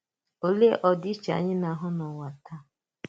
Òlè ọdịiche anyị na-àhụ n’ụwa taa?